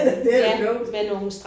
Det er klogt